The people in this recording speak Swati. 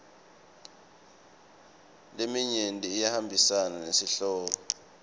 leminyenti iyahambisana nesihloko